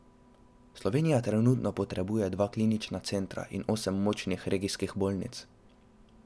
Slovenija trenutno potrebuje dva klinična centra in osem močnih regijskih bolnišnic.